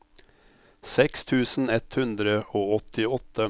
seks tusen ett hundre og åttiåtte